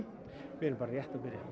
við erum bara rétt að byrja